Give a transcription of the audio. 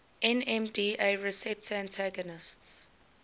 nmda receptor antagonists